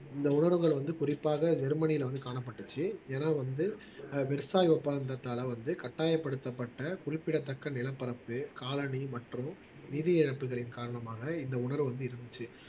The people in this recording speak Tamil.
இந்த உணர்வுகள் வந்து குறிப்பாக ஜெர்மனில வந்து காணப்பட்டுச்சு ஏன்னா வந்து ஆஹ் ஒப்பந்தத்தால வந்து கட்டாயப்படுத்தப்பட்ட குறிப்பிடத்தக்க நிலப்பரப்பு காலணி மற்றும் நிதி இழப்புகளின் காரணமாக இந்த உணர்வு வந்து இருந்துச்சு